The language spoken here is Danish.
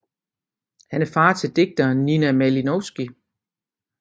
Han er far til digteren Nina Malinovski